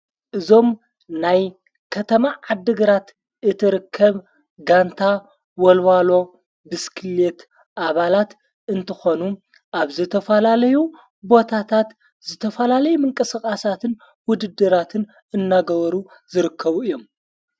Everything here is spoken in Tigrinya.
እዞም ናይ ከተማ ዓድግራት እት ርከብ ጋንታ ወልዋሎ ብስክልት ኣባላት እንትኾኑ ኣብ ዘተፋላለዩ ቦታታት ዝተፈላለይ ምንቀሰቓሳትን ውድድራትን እንትገበሩ ዝርከቡ እዮም።